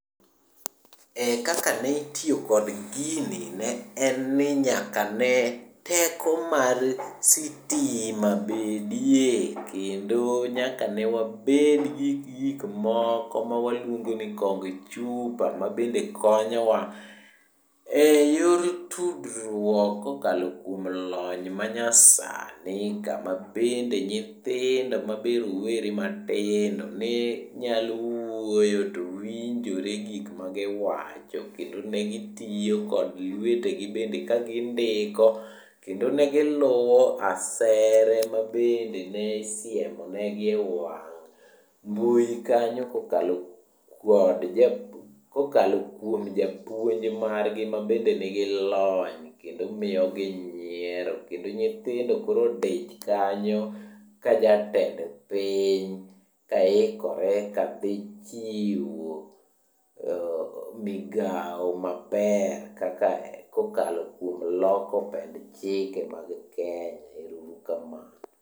Eh kaka nitiyo kod gini ne en ni nyaka ne teko mar sitima bedie, kendo ne nyaka wabedgi gikmoko ma waluongo ni kong chupa ma bende konyowa e yor tudruok kokalo kuom lony manyasani kama bende nyithindo ma be rowere matindo ne nyalo wuoyo to winjore gik magiwacho. Kendo ne gitiyo kod lwetegi bende ka gindiko kendo ne giluwo asere mabende ne isiemonegi e wang' mbui kanyo kokalo kuom japuonj margi mabende nigi lony, kendo miyogi nyiero. Kendo nyithindo koro odich kanyo kajatend piny kaikore kadhi ka dhi chiwo migao maber, kokalo kuom loko pend chike mag Kenya. Ero uru kamano.